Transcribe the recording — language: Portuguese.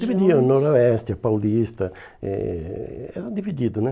Dividiam, noroeste, paulista, eh era dividido, né?